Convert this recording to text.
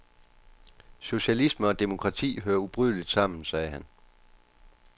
Socialisme og demokrati hører ubrydeligt sammen, sagde han.